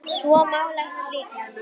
Svo málaði hann líka.